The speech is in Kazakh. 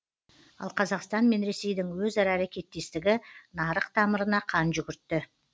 ал қазақстан мен ресейдің өзара әрекеттестігі нарық тамырына қан жүгіртті